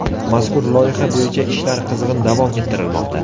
Mazkur loyiha bo‘yicha ishlar qizg‘in davom ettirilmoqda.